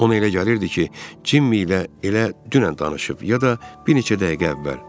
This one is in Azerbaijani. Ona elə gəlirdi ki, Cimmi ilə elə dünən danışıb, ya da bir neçə dəqiqə əvvəl.